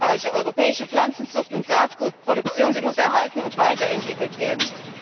Die erfolgreiche europäische Pflanzenzucht und Saatgutproduktion müssen erhalten und weiterentwickelt werden.